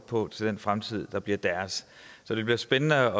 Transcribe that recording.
på til den fremtid som bliver deres så det bliver spændende